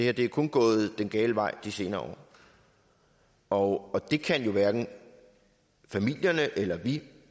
er kun gået den gale vej de senere år og det kan jo hverken familierne eller vi